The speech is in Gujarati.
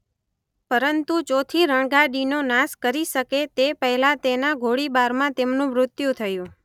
પરંતુ ચોથી રણગાડીનો નાશ કરી શકે તે પહેલાં તેના ગોળીબારમાં તેમનું મૃત્યુ થયું.